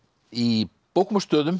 í bókum og stöðum